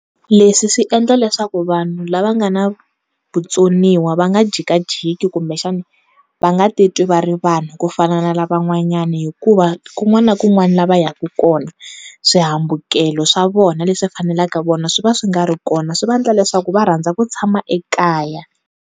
Leswi swi endla leswaku vanhu lava nga na vutsoniwa va nga jikajiki kumbexani va nga titwi va ri vanhu ku fana na lavan'wanyani hikuva kun'wana na kun'wana la va ya ku kona, swihambukelo swa vona leswi fanelaka vona swi va swi nga ri kona swi va endla leswaku va rhandza ku tshama ekaya.